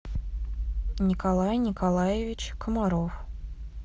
николай николаевич комаров